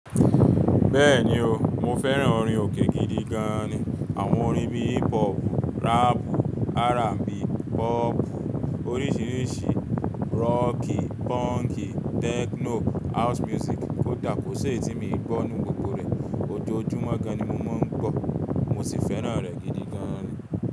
Bẹ́ẹ̀ni o, mo fẹ́ràn orin òkè gidi gan ni. Àwọn orin bíi hip-pop, rap, R&B, rock orísìírísìí, rock, punk, techno, house music kòdà kọ sí èyí ti mi n gbọ́ nínu gbogbo rẹ̀. Òjòojúmo gán-an ni mo máa ń gbọ́, mo sì fẹ́ràn rẹ̀ gidi gan ni.